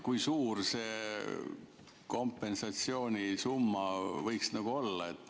Kui suur see kompensatsioonisumma võiks olla?